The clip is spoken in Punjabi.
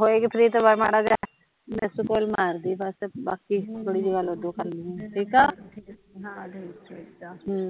ਹੋਏਗੀ ਫ਼੍ਰੀ ਬਸ ਮਾੜਾ ਜਿਹਾ ਮਿਸ ਕਾਲ ਮਾਰਦੀ ਬਾਕੀ ਹਮ